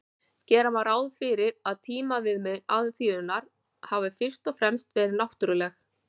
gera má ráð fyrir að tímaviðmið alþýðunnar hafi fyrst og fremst verið náttúruleg